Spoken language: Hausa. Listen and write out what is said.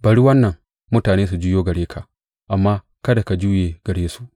Bari wannan mutane su juyo gare ka, amma kada ka juye gare su.